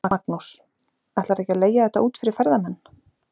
Magnús: Ætlarðu ekki að leigja þetta út fyrir ferðamenn?